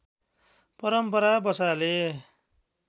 परम्परा बसाले